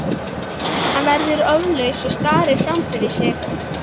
Hann verður orðlaus og starir fram fyrir sig.